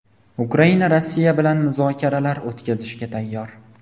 Ukraina Rossiya bilan muzokaralar o‘tkazishga tayyor.